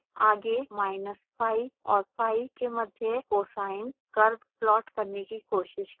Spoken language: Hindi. आगे minus pi और pi के मध्य cosine curve प्लॉट करने की कोशिश करें